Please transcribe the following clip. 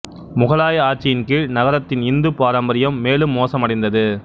முகலாய ஆட்சியின் கீழ் நகரத்தின் இந்துப் பாரம்பரியம் மேலும் மோசமடைந்து